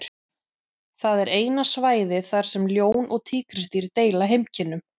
Það er eina svæðið þar sem ljón og tígrisdýr deila heimkynnum.